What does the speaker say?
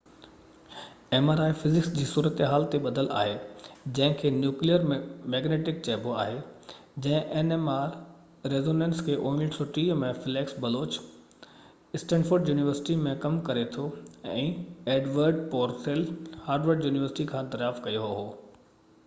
mri physics جي صورتحال تي ٻڌل آهي جنهن کي نيوڪليئر مئگنيٽڪ ريزونينس nmr چئبو آهي، جنهن کي 1930 ۾ فليڪس بلوچ اسٽينفورڊ يونيورسٽي م ڪم ڪري ٿو ۽ ايڊورڊ پورسيل هارورڊ يونيورسٽي کان دريافت ڪيو هو